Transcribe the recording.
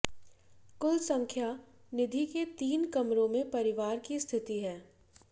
कुल संख्या निधि के तीन कमरों में परिवार की स्थिति है